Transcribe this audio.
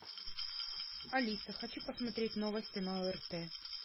алиса хочу посмотреть новости на орт